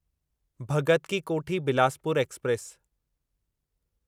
Bhagat ki Kothi Bilaspur express